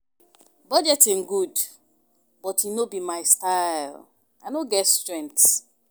Budgeting good but e no be my style and I no get strength